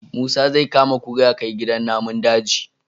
Musa zai kama kura yakai gidan namun daji